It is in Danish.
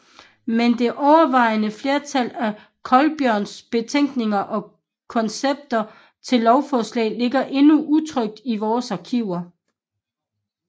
Men det overvejende flertal af Colbjørnsens betænkninger og koncepter til lovforslag ligger endnu utrykt i vore arkiver